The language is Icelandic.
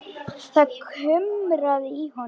Það kumraði í honum.